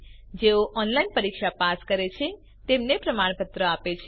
જેઓ ઓનલાઇન પરીક્ષા પાસ કરે છે તેમને પ્રમાણપત્ર આપે છે